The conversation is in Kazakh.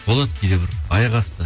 болады кейде бір аяқ асты